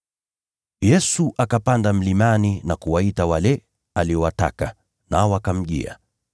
Yesu akapanda mlimani na kuwaita wale aliowataka, nao wakamjia.